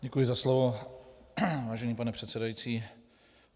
Děkuji za slovo, vážený pane předsedající.